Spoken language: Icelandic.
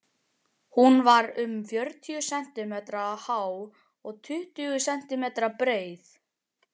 Hún var um fjörutíu sentímetra há og tuttugu sentímetra breið.